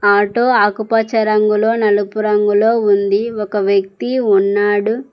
Auto ఆకుపచ్చ రంగులో నలుపు రంగులో ఉంది ఒక వ్యక్తి ఉన్నాడు.